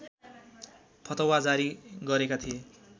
फतवा जारी गरेका थिए